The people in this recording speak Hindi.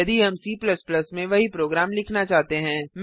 यदि हम C में वही प्रोग्राम लिखना चाहते हैं